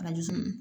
Arajo so